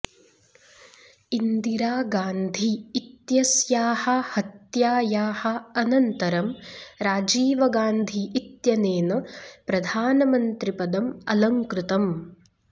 इन्दिरा गान्धी इत्यस्याः हत्यायाः अनन्तरं राजीव गान्धी इत्यनेन प्रधानमन्त्रिपदम् अलङ्कृतम्